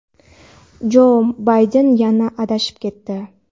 Jo Bayden yana adashib ketdi.